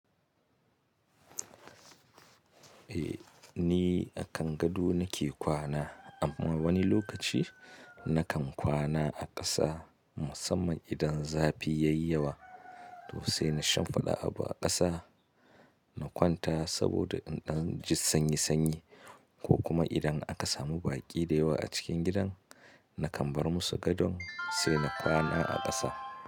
Eh ni a kan gado nake kwana, amma wani lokaci na kan kwana a ƙasa musamman idan zafi yayi yawa to sai na shimfiɗa abu a ƙasa na kwanta saboda in ɗan ji sanyi sanyi ko kuma idan aka samu baƙi dayawa a cikin gidan na kan bar musu gadon sai na kwana a ƙasa.